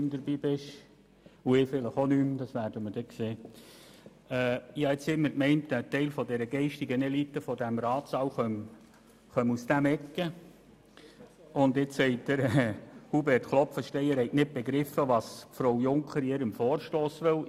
Ich habe bisher immer gemeint, ein Teil der geistigen Elite dieses Ratssaals komme aus dieser Ecke, und jetzt sagt Hubert Klopfenstein, er habe nicht begriffen, was Frau Junker mit ihrem Vorstoss will.